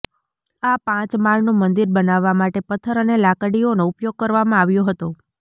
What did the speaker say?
આ પાંચ માળનું મંદિર બનાવવા માટે પથ્થર અને લાકડીઓનો ઉપયોગ કરવામાં આવ્યો હતો